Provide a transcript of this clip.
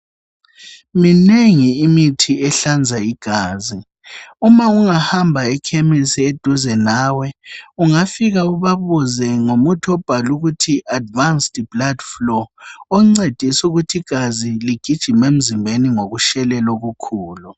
Minengi imithi ehlanza igazi, uma ungahamba ekhemesi eseduze nawe ungafika ubabuze ngomuthi obhalwe ukuthi advanced blood flow oncedisa ukuthi igazi ligijime emzimbeni ngokushelela okukhulu.